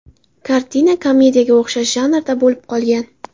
Kartina komediyaga o‘xshash janrda bo‘lib qolgan.